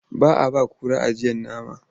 Ba a ba kura ajiyar nama.